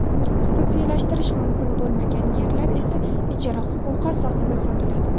xususiylashtirish mumkin bo‘lmagan yerlar esa ijara huquqi asosida sotiladi.